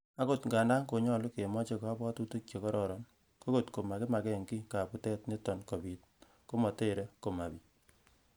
Agot ng'andan konyolu kemoche kobwotutik che kororon, ko kot komakimakey giy kabutet netot kobit, komotere momabit.